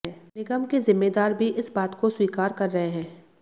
निगम के जिम्मेदार भी इस बात को स्वीकार कर रहे हैं